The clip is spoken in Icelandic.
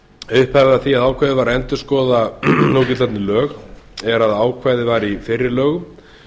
upphafið að því að ákveðið var að endurskoða núgildandi lög er að ákvæði var í fyrri lögum